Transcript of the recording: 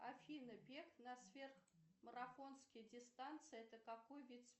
афина бег на сверхмарафонские дистанции это какой вид спорта